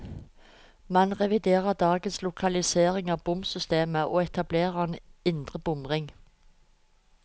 Man reviderer dagens lokalisering av bomsystemet, og etablerer en indre bomring.